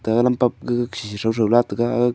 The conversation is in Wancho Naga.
ta lampap ga khikhi throu throu la taiga.